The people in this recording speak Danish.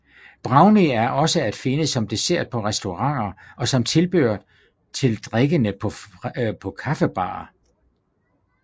Brownie er også at finde som dessert på restauranter og som tilbehør til drikkene på kaffebarer